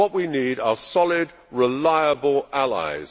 What we need are solid, reliable allies.